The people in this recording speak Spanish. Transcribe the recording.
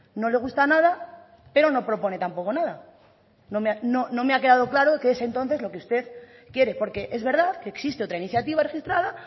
no le gusta nada pero no propone tampoco nada no me ha quedado claro qué es entonces lo que usted quiere porque es verdad que existe otra iniciativa registrada